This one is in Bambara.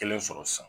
Kelen sɔrɔ sisan